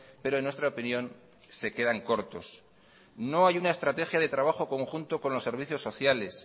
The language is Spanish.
pero en nuestra opinión se quedan cortos no hay una estrategia de trabajo conjunta con los servicios sociales